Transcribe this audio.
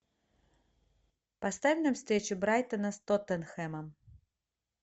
поставь нам встречу брайтона с тоттенхэмом